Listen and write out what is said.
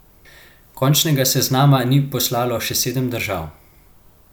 Končnega seznama ni poslalo še sedem držav.